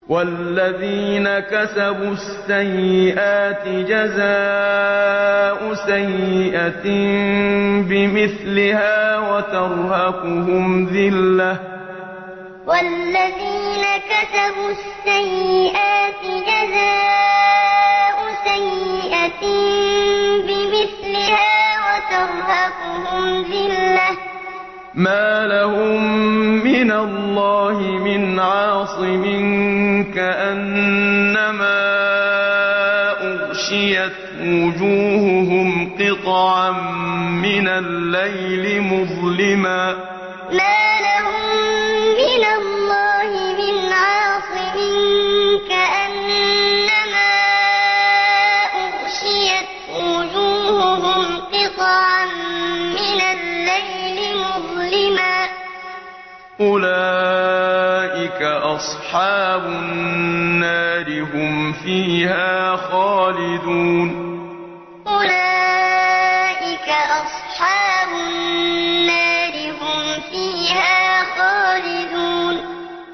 وَالَّذِينَ كَسَبُوا السَّيِّئَاتِ جَزَاءُ سَيِّئَةٍ بِمِثْلِهَا وَتَرْهَقُهُمْ ذِلَّةٌ ۖ مَّا لَهُم مِّنَ اللَّهِ مِنْ عَاصِمٍ ۖ كَأَنَّمَا أُغْشِيَتْ وُجُوهُهُمْ قِطَعًا مِّنَ اللَّيْلِ مُظْلِمًا ۚ أُولَٰئِكَ أَصْحَابُ النَّارِ ۖ هُمْ فِيهَا خَالِدُونَ وَالَّذِينَ كَسَبُوا السَّيِّئَاتِ جَزَاءُ سَيِّئَةٍ بِمِثْلِهَا وَتَرْهَقُهُمْ ذِلَّةٌ ۖ مَّا لَهُم مِّنَ اللَّهِ مِنْ عَاصِمٍ ۖ كَأَنَّمَا أُغْشِيَتْ وُجُوهُهُمْ قِطَعًا مِّنَ اللَّيْلِ مُظْلِمًا ۚ أُولَٰئِكَ أَصْحَابُ النَّارِ ۖ هُمْ فِيهَا خَالِدُونَ